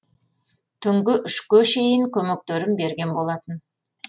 түнгі үшке шейін көмектерін берген болатын